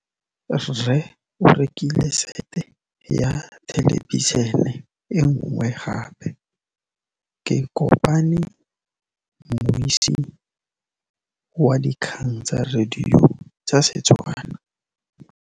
Rre o rekile sete ya thêlêbišênê e nngwe gape. Ke kopane mmuisi w dikgang tsa radio tsa Setswana.